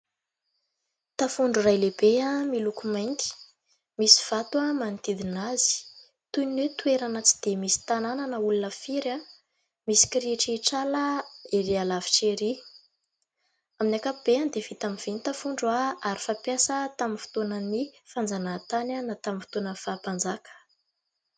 Tafondro iray lehibe miloko mainty, misy vato manodidina azy toy ny hoe : toerana tsy dia misy tanàna na olona firy, misy kirihitrihitr'ala erỳ alavitra erỳ ; amin'ny ankapobeny dia vita amin'ny vy ny tafondro ary fampiasa tamin'ny fotoanan'ny fanjanahantany na tamin'ny fotoanan'ny faha mpanjaka.